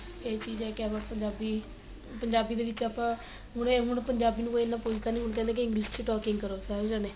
ਇਹ ਚੀਜ਼ਾ ਕਹਿ ਲੋ ਪੰਜਾਬੀ ਪੰਜਾਬੀ ਦੇ ਵਿੱਚ ਆਪਾਂ ਹੁਣੇ ਹੁਣ ਪੰਜਾਬੀ ਨੂੰ ਕੋਈ ਇੰਨਾ ਪੁੱਛਦਾ ਨੀ ਹੁਣ ਕਹਿੰਦੇ ਏ ਕੀ English talking ਕਰੋ ਸਾਰੇ ਜਾਣੇ